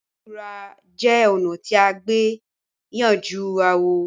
Ìdúndúrà jẹ̀ ònà tí à gbè yanjú àwò